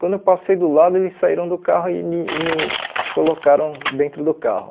Quando eu passei do lado, eles saíram do carro e me e me colocaram dentro do carro.